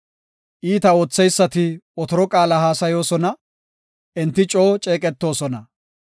Iita ootheysati otoro qaala haasayoosona; enti coo ceeqetoosona.